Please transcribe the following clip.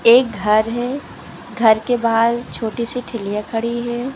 एक घर है घर के बाहर छोटी सी ठेलिया खड़ी है।